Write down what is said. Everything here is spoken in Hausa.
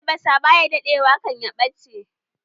Albasa ba ya daɗe wa kan ya ɓace